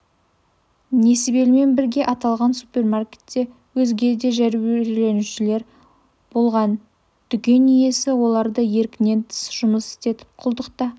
несібелімен бірге аталған супермаркетте өзге де жәбірленушілер болған дүкен иесі оларды еркінен тыс жұмыс істетіп құлдықта